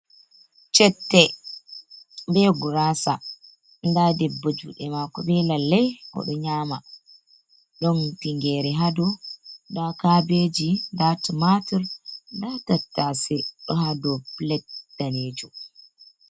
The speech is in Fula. chette bee guraasa, nda debbo juuɗe maako bee lalle, o ɗo nyaama, ɗon tingeere haa dow, ndaa kaabeeji, ndaa tumaatur, nda tattaase ɗo haa dow plet daneejum.